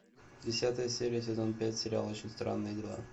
десятая серия сезон пять сериал очень странные дела